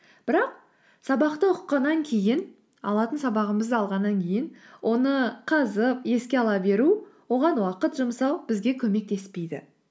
бірақ сабақты оқығаннан кейін алатын сабағымызды алғаннан кейін оны қазып еске ала беру оған уақыт жұмсау бізге көмектеспейді